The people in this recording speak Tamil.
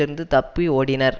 இருந்து தப்பி ஓடினர்